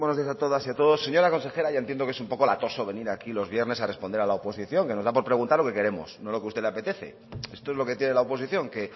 buenos días a todas y a todos señora consejera ya entiendo que es un poco latoso venir aquí los viernes a responder a la oposición que nos da por preguntar lo que queremos no lo que a usted le apetece esto es lo que tiene la oposición que